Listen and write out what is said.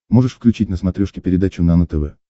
можешь включить на смотрешке передачу нано тв